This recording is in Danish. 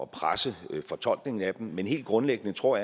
presse fortolkningen af dem men helt grundlæggende tror